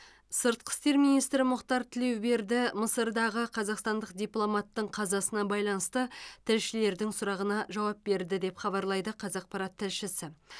сыртқы істер министрі мұхтар тілеуберді мысырдағы қазақстандық дипломаттың қазасына байланысты тілшілердің сұрағына жауап берді деп хабарлайды қазақпарат тілшісі